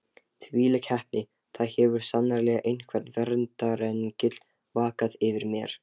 Þvílík heppni: það hefur sannarlega einhver verndarengill vakað yfir mér.